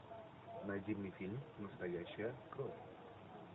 найди мне фильм настоящая кровь